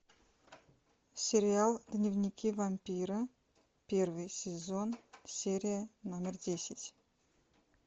сериал дневники вампира первый сезон серия номер десять